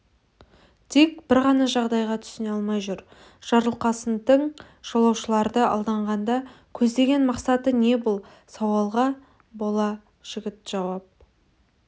дик бір ғана жағдайға түсіне алмай жүр жарылқасынтің жолаушыларды алдағанда көздеген мақсаты не бұл сауалға бала жігіт жауап